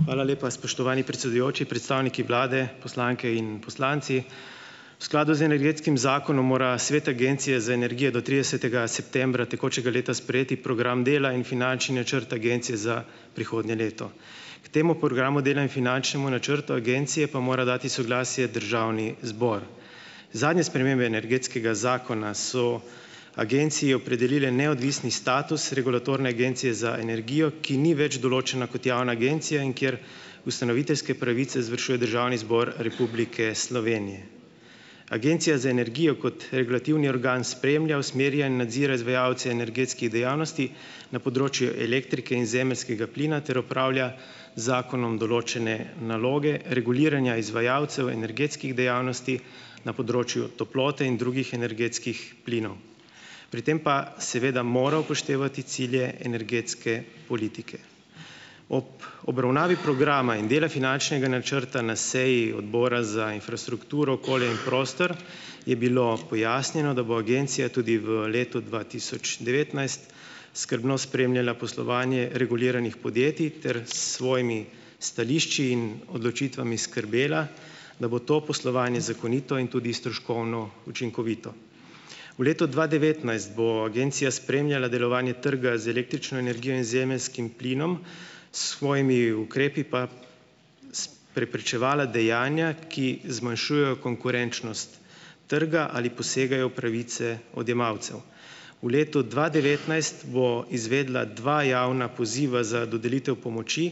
Hvala lepa, spoštovani predsedujoči. Predstavniki vlade, poslanke in poslanci. V skladu z energetskim zakonom mora svet Agencije za energijo do tridesetega septembra tekočega leta sprejeti program dela in finančni načrt agencije za prihodnje leto. K temu programu dela in finančnemu načrtu agencije pa mora dati soglasje državni zbor. Zadnje spremembe energetskega zakona so agenciji opredelile neodvisni status regulatorne Agencije za energijo, ki ni več določena kot javna agencija, in kjer ustanoviteljske pravice izvršuje Državni zbor Republike Slovenije. Agencija za energijo kot regulativni organ spremlja, usmerja in nadzira izvajalce energetskih dejavnosti na področju elektrike in zemeljskega plina ter opravlja z zakonom določene naloge reguliranja izvajalcev energetskih dejavnosti na področju toplote in drugih energetskih plinov. Pri tem pa seveda mora upoštevati cilje energetske politike. Ob obravnavi programa in dela finančnega načrta na seji Odbora za infrastrukturo, okolje in prostor je bilo pojasnjeno, da bo agencija tudi v letu dva tisoč devetnajst skrbno spremljala poslovanje reguliranih podjetij ter s svojimi stališči in odločitvami skrbela, da bo to poslovanje zakonito in tudi stroškovno učinkovito. V letu dva devetnajst bo agencija spremljala delovanje trga z električno energijo in zemeljskim plinom, s svojimi ukrepi pa preprečevala dejanja, ki zmanjšujejo konkurenčnost trga ali posegajo v pravice odjemalcev. V letu dva devetnajst bo izvedla dva javna poziva za dodelitev pomoči,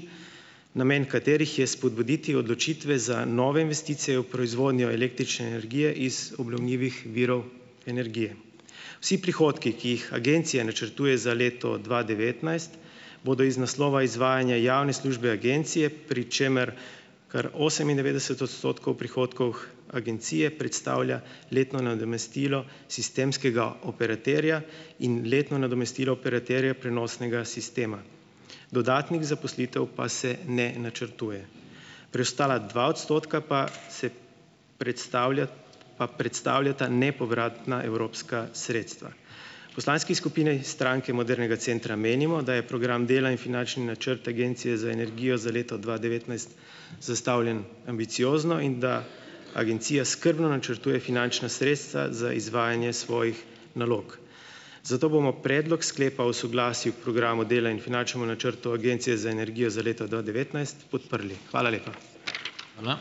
namen katerih je spodbuditi odločitve za nove investicije v proizvodnjo električne energije iz obnovljivih virov energije. Vsi prihodki, ki jih agencija načrtuje za leto dva devetnajst, bodo iz naslova izvajanja javne službe agencije, pri čemer kar osemindevetdeset odstotkov prihodkov agencije predstavlja letno nadomestilo sistemskega operaterja in letno nadomestilo operaterja prenosnega sistema. Dodatnih zaposlitev pa se ne načrtuje. Preostala dva odstotka pa se predstavlja pa predstavljata nepovratna evropska sredstva. V poslanski skupini Stranke modernega centra menimo, da je program dela in finančni načrt Agencije za energijo za leto dva devetnajst zastavljen ambiciozno in da agencija skrbno načrtuje finančna sredstva za izvajanje svojih nalog. Zato bomo Predlog sklepa o soglasju k Programu dela in finančnem načrtu Agencije za energijo za leto dva devetnajst podprli. Hvala lepa.